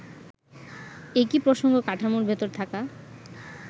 একই প্রসঙ্গ-কাঠামোর ভেতর থাকা